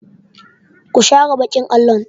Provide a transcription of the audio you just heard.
Ku share baƙin allo!